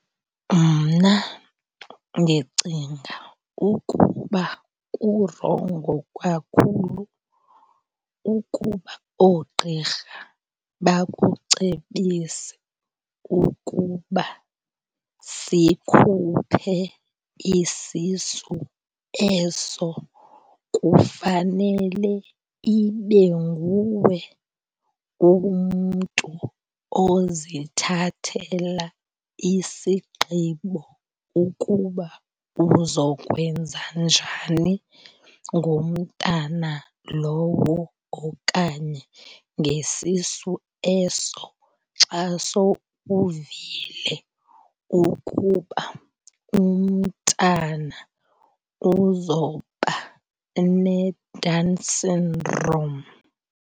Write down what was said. Mna ndicinga ukuba kurongo kakhulu ukuba oogqirha bakucebise ukuba sikhuphe isisu eso. Kufanele ibe nguwe umntu ozithathela isigqibo ukuba uzokwenza njani ngomntana lowo okanye ngesisu eso xa sowuvile ukuba umntana uzoba neDown syndrome.